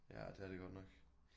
Ja det er det godt nok